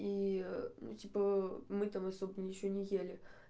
и ну типа мы там особо ничего не ели